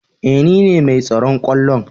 Eh nine mai tsaron kwallon.